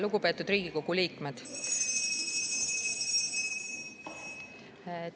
Lugupeetud Riigikogu liikmed!